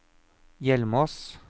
Hjelmås